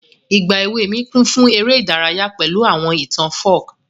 Ìgbà èwe mi kún fún ere ìdárayá pẹ̀lu àwọn ìtàn folk.